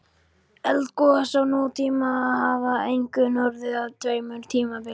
Eldgos á nútíma hafa einkum orðið á tveimur tímabilum.